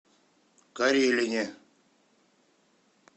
карелине